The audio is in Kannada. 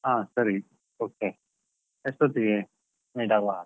ಹಾ ಸರಿ okay , ಎಷ್ಟೊತ್ತಿಗೆ meet ಆಗ್ವಾ?